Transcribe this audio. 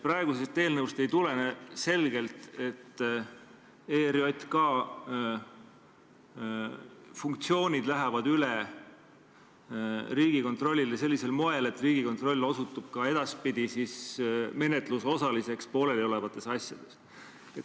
Praegusest eelnõust ei tulene selgelt, et ERJK funktsioonid lähevad üle Riigikontrollile sellisel moel, et Riigikontroll osutub ka edaspidi menetluse osaliseks pooleliolevates asjades.